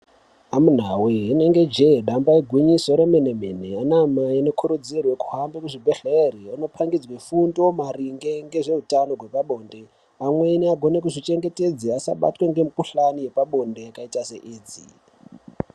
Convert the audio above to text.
Amunawe inenge je damba ingwinyiso remene mene ana mai anokurudzirwe kuhamba kuzvibhedhlera anopangidzwe fundo maringe ngezveutano hwepabonde amweni agone kuzvichengetedza asabatwe ngemikuhlane yepabonde yakaita se Edzi.